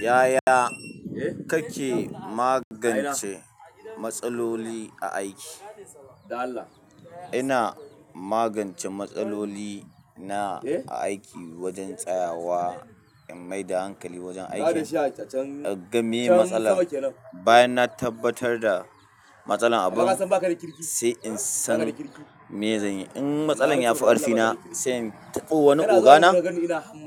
Yaya kake magance matsaloli a aiki? Ina magance matsaloli na a aiki wajen tsayawa in maida hankali wajen aikin, in ga meye matsalar, bayan na tabbatar da matsalar abin sai in san me zan yi. In matsalar ya fi ƙarfina sai in taɓo wani ogana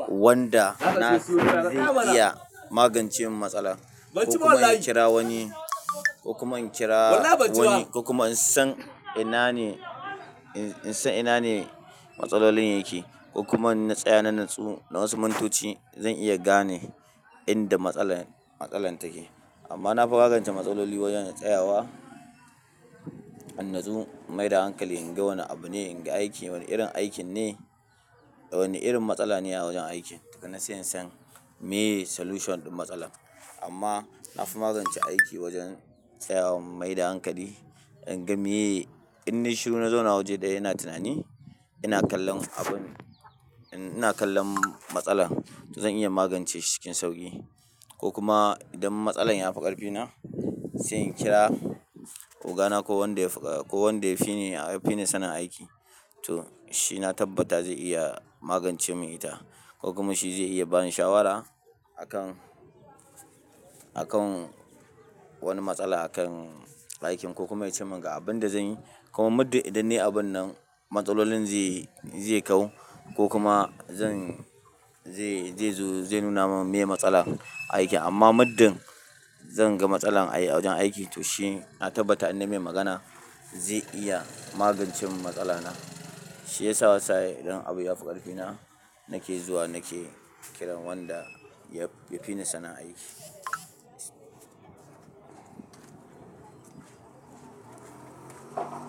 wanda na ji zai iya magance min matsala ko kuma in kira wani, ko kuma in kira wani ko kuma in san ina ne, in san ina ne matsalolin yake ko kuma in na tsaya na natsu na wasu mintoci zan iya gane inda matsalar, matsalar take. Amma na fi magance matsaloli wajen in tsayawa, in natsu in maida hankali in ga wane abu ne, in ga aiki wane irin aikin ne, wane irin matsala ne ya wajen aikin, daga ina sai in san meye solution ɗin matsalar. Amma na fi magance aiki wajen tsayawa in maida hankali, in ga meye, in nayi shiru na zauna waje ɗaya ina tunani, ina kallon abun, ina kallon matsalar to zan iya magance shi cikin sauƙi ko kuma idan matsalar ya fi ƙarfina sai in kira ogana ko wanda ya fi, ko wanda ya fi ni, ya fi ni sanin aiki to shi na tabbata zai iya magance min ita ko kuma shi zai iya bani shawara a kan, a kan wani matsala a kan aikin ko kuma ya ce min ga abin da zan yi ko kuma muddin idan ne abun nan matsalolin zai, zai kau ko kuma zan, zai, zai zo zai nuna min meye matsalar aikin. Amma muddin zan ga matsalar a wajen aiki to shi na tabbata inna mai magana zai iya magance mun matsala na, shi yasa wani sa'in idan abu ya fi ƙarfina nake zuwa nake kiran wanda ya fi ni sanin aiki.